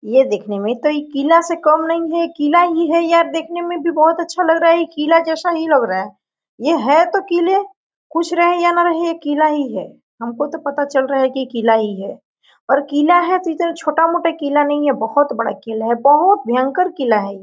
ये देखने में तो ये किला से कम नहीं है किला ही है ये अब देखने में भी बहुत अच्छा लग रहा है ये किला जैसा ही लग रहा है ये है तो किले कुछ रहे या ना रहे ये किला ही है हमको तो पता चल रहा है कि ये किला ही है और किला है तो इतना छोटा मोटा किला नही है बहुत बड़ा किला है बहुत भयंकर किला है।